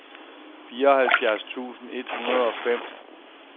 fireoghalvfjerds tusind et hundrede og fem